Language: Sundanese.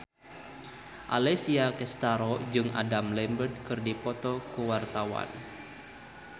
Alessia Cestaro jeung Adam Lambert keur dipoto ku wartawan